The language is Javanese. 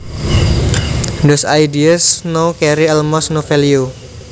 Those ideas now carry almost no value